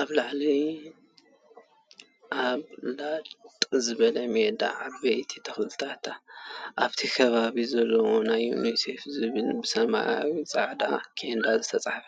ኣብ ለጥ ዝበለ ሜዳ ዓበይቲ ተክሊ ኣብቲ ከባቢ ዘለዎ ናይ ዩኒሴፍ ዝብል ብሰማያዊ ኣብ ፃዕዳ ቸንዳ ዝተፃሓፈ